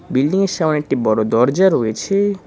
বিল্ডিংয়ের সামনে একটি বড় দরজা রয়েছে।